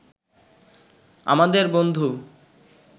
আমাদের বন্ধু